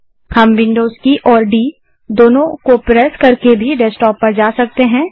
हम विन्डोज़ की और डी दोनों को प्रेस करके भी डेस्कटॉप पर जा सकते हैं